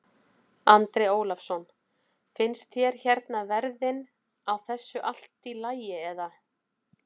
Andri Ólafsson: Finnst þér hérna verðin á þessu allt í lagi eða?